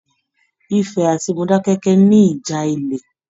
Ifẹ̀ àti Modákẹ́kẹ́ ní ìjà ilẹ.